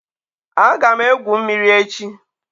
Aga m egwu mmiri echi.